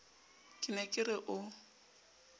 ke ne ke re o